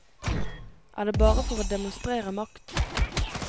Er det bare for å demonstrere makt?